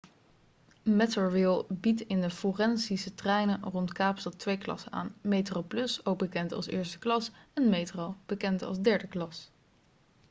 metrorail biedt in de forensentreinen rond kaapstad twee klassen aan: metroplus ook bekend als eerste klas en metro bekend als derde klas